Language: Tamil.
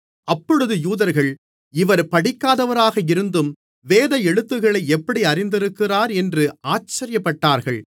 அப்பொழுது யூதர்கள் இவர் படிக்காதவராக இருந்தும் வேத எழுத்துக்களை எப்படி அறிந்திருக்கிறார் என்று ஆச்சரியப்பட்டார்கள்